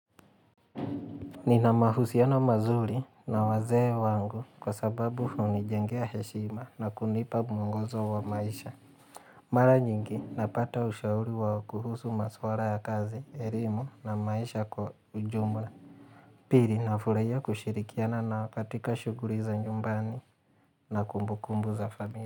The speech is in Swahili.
Ninamahusiano mazuri na wazee wangu kwa sababu hunijengea heshima na kunipa muongozo wa maisha. Mara nyingi napata ushauri wa kuhusu maswara ya kazi, erimu na maisha kwa ujumla. Pili nafurahia kushirikiana nao katika shuguri za nyumbani na kumbu kumbu za familia.